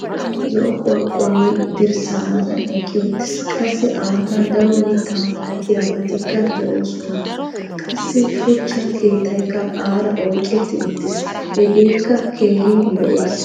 zo'o qorqqory dirssaa matan eqqi uttiis. qassi a matan daro mitaa milattiyabatikka de'oososna. qassi shuchcha keettaykka aara oyqetti uttis. hegeekka keehi lo''ees.